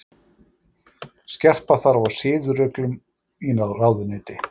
Skerpa þarf á siðareglum í ráðuneyti